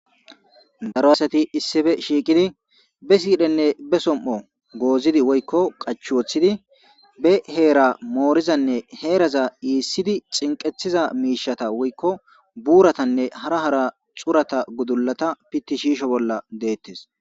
Daro asati issife shiiqidi be siidhenne be som'o goozidi woykko qachwoththidi be heera moorizanne heeraza iissidi cinqethiza miishata woykko buuratanne hara hara xurata gudulata pitti shiisho bolla deettes.